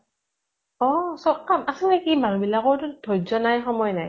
অ । চব কাম । আচলতে কি মানুহ বিলাকৰ ধয্য় নাই, সময় নাই ।